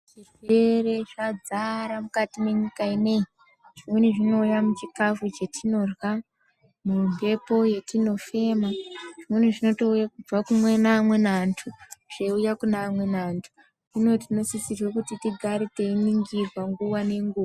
Zvirwere zvadzara mukati mwenyika ineyi. Zvimweni zvinouya muchikhafu chetinorya, mumphepo yetinofema, zvimweni zvitonouye kubve kune amweni antu, zveiuya kune amweni antu. Hino tinosise kuti tigare teiningirwa, nguwa nenguwa.